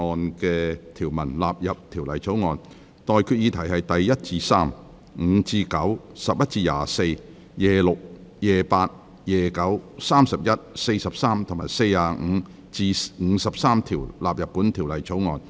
我現在向各位提出的待決議題是：第1至3、5至9、11至24、26、28、29、31至43及45至53條納入本條例草案。